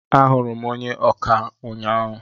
Ahụrụ m onye ọkà ụnyaahụ.